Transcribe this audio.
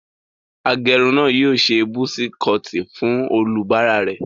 Agẹrun náà yóò ṣe busi kọọtì fún olúbàarà rẹ̀.